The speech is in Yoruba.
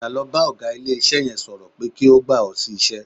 Padà lọ bá ọ̀gá ilé-iṣẹ́ yẹn sọ̀rọ̀ pé kó gbà ọ́ sí iṣẹ́